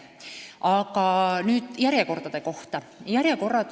Aga nüüd järjekordade kohta.